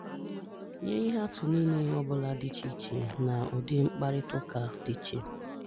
Nye ihe atụ nile ọ bụla dị iche iche na ụdi mkparịtaụka dị iche.